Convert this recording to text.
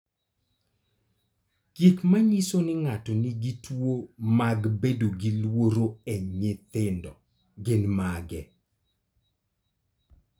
Gik manyiso ni ng'ato nigi tuwo mag bedo gi luoro e nyithindo gin mage?